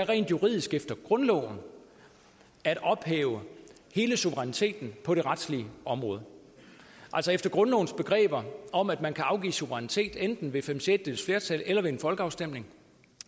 rent juridisk efter grundloven er at ophæve hele suveræniteten på det retlige område altså efter grundlovens begreber om at man kan afgive suverænitet enten ved fem sjettedeles flertal eller ved en folkeafstemning